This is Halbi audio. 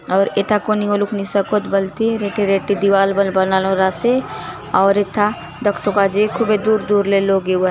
आउर एथा कोनी ओलुक नी सकोत बलते रेटे रेटे दिवार बले बनालोर आसे आउर एथा दखतो काजे खूबे दूर - दूर ले लोग एवात।